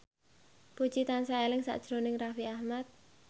Puji tansah eling sakjroning Raffi Ahmad